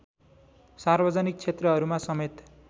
सार्वजनिक क्षेत्रहरूमा समेत